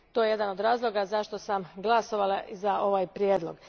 To je jedan od razloga zašto sam glasovala za ovaj prijedlog.